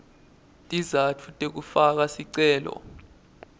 tizatfu tekufaka sicelo